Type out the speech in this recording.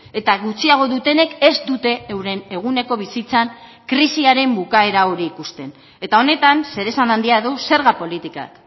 eta gutxiago dutenek ez dute euren eguneko bizitzan krisiaren bukaera hori ikusten eta honetan zeresan handia du zerga politikak